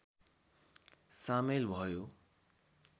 सामेल भयो